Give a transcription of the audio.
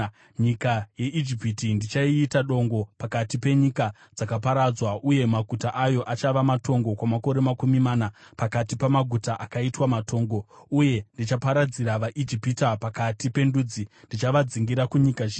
Nyika yeIjipiti ndichaiita dongo pakati penyika dzakaparadzwa, uye maguta ayo achava matongo kwamakore makumi mana pakati pamaguta akaitwa matongo. Uye ndichaparadzira vaIjipita pakati pendudzi, ndichavadzingira kunyika zhinji.